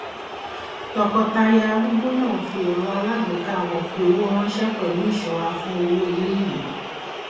tọkọtaya arúgbó náà fi ẹrọ alágbèéká wọn fi owó ránṣẹ pẹlú ìṣọra fún owó iléìwé